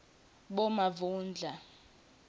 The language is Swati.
bomavundla